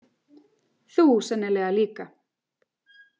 Þú sennilega líka.